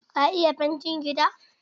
Ka iya fantin gida?